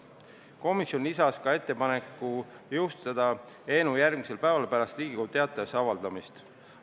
Komisjon lisas ka ettepaneku jõustada seadus järgmisel päeval pärast Riigi Teatajas avaldamist.